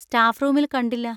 Staff റൂമിൽ കണ്ടില്ല.